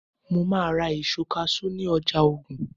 mo ma ra èso cashew ni ọjà ogun